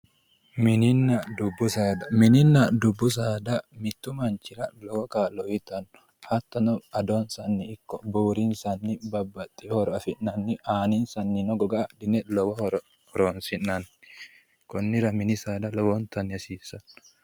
mininna dubbu saada mininna dubbu saada mittu manchira lowo kaa'lo uyiitanno hattono adonsanni ikko buurinsanni babbaxino horo afi'nanni aaninsannino goga adhine lowo horo horonsi'nanni konnira mini saada lowontanni hasiissanno.